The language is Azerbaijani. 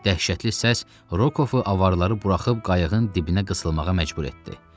Dəhşətli səs Rokovu avaraları buraxıb qayıqın dibinə qısılmağa məcbur etdi.